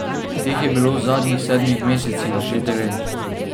Teh je bilo v zadnjih sedmih mesecih že devet.